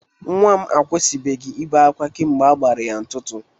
Nwa m akwụsịbeghi ibe akwa kemgbe agbara ya ntụtu